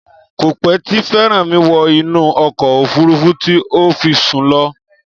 Kò pẹ́ tí Fẹ́rànmi wọ inú ọkọ̀ òfúrufú tí ó fi sún lọ